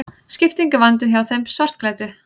Skipting í vændum hjá þeim svartklæddu.